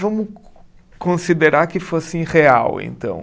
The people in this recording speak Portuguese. Vamos co considerar que fossem real, então.